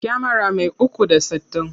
Kyamara mai 360.